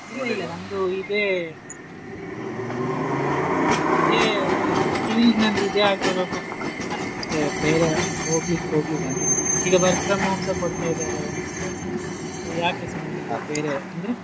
ನಂದು ಇದೆ ಇಲ್ಲ field ನಂದ್ ಇದೆ ಆಗಿರೋ ಮತ್ತೆ ಬೇರೆ ಹೋಗ್ಲಿಕ್ಕೆ ಹೋಗಿಲ್ಲ ಅಂದ್ರೆ ಈಗ work from home ಸಾ ಕೊಡ್ತಾ ಇದಾರೆ ಮತ್ತೆ ಯಾಕೆ ಸುಮ್ಮನೆ ಬೇರೆ ಅಂದ್ರೆ.